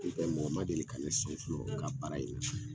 Ni tɛ mɔgɔ ma deli ka ne sɔn fɔlɔ u ka baara in na.